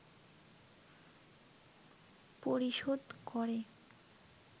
পরিশোধ করে